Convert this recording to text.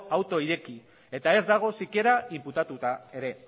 autua ireki eta ez dago sikiera inputatuta ere